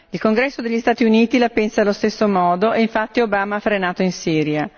Il Congresso degli Stati Uniti la pensa allo stesso modo e, infatti, Obama ha frenato in Siria.